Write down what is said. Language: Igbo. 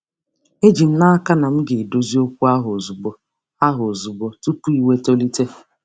Eji m n'aka na m ga-edozi okwu ahụ ozugbo, ahụ ozugbo, tupu iwe tolite.